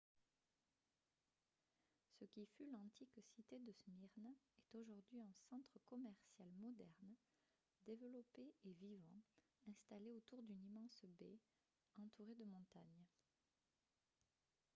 ce qui fut l'antique cité de smyrne est aujourd'hui un centre commercial moderne développé et vivant installé autour d'une immense baie entourée de montagnes